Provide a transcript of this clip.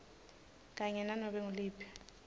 kanye nanobe nguliphi